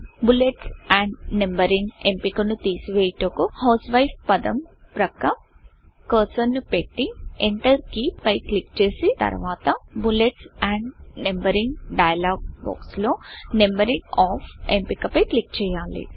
bullets and Numberingబులెట్స్ and numbering ఎంపికను తీసివేయు టకు హౌస్వైఫ్ హౌస్వైఫ్పదం పక్క కర్సర్ ను పెట్టి ఎంటర్ కీ పై క్లిక్ చేసి తర్వాత బుల్లెట్స్ ఆండ్ Numberingబులెట్స్ అండ్ నంబరింగ్ డైయలోగ్ బాక్స్ లో నంబరింగ్ Offనంబరింగ్ ఆఫ్ ఎంపిక పై క్లిక్ చేయాలి